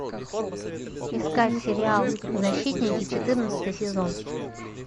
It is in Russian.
искать сериал защитники четырнадцатый сезон